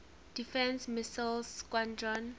defense missile squadron